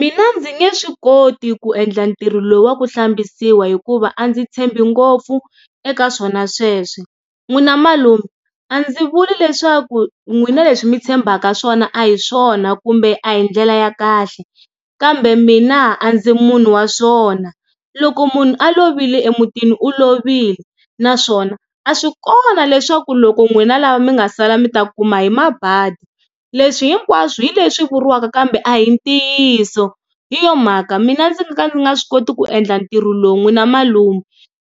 Mina ndzi nge swi koti ku endla ntirho lowu wa ku hlambisiwa hikuva a ndzi tshembi ngopfu eka swona sweswe n'wina malume a ndzi vuli leswaku n'wina leswi mi tshembaka swona a hi swona kumbe a hi ndlela ya kahle kambe mina a ndzi munhu wa swona loko munhu a lovile emutini u lovile naswona a swi kona leswaku loko n'wina lava mi nga sala mi ta kuma hi mabadi, leswi hinkwaswo hi leswi vuriwaka kambe a hi ntiyiso. Hi yona mhaka mina ndzi nga ka ndzi nga swi koti ku endla ntirho lowu n'wina malume